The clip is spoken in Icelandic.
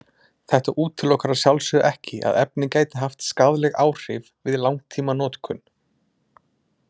Þetta útilokar að sjálfsögðu ekki að efnið gæti haft skaðleg áhrif við langtímanotkun.